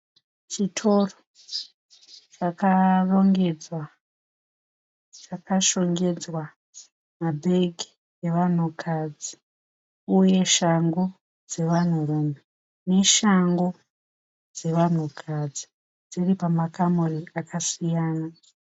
Chitoro chakarongedzwa chakashongedzwa mabhegi evanhukadzi uye shangu dzevanhurume neshangu dzevanhukadzi dziri pamakamuri akasiyana.